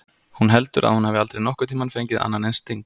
Hún heldur að hún hafi aldrei nokkurn tímann fengið annan eins sting.